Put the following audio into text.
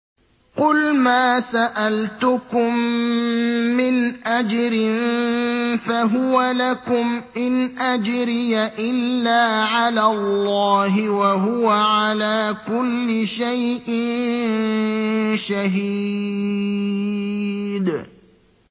قُلْ مَا سَأَلْتُكُم مِّنْ أَجْرٍ فَهُوَ لَكُمْ ۖ إِنْ أَجْرِيَ إِلَّا عَلَى اللَّهِ ۖ وَهُوَ عَلَىٰ كُلِّ شَيْءٍ شَهِيدٌ